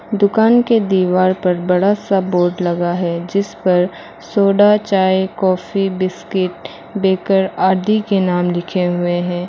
दुकान के दीवार पर बड़ा सा बोर्ड लगा है जिस पर सोडा चाय कॉफी बिस्किट बेकर आदि के नाम लिखे हुए हैं।